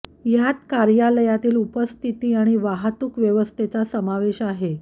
यात कार्यालयातील उपस्थिती आणि वाहतूक व्यवस्थेचा समावेश आहे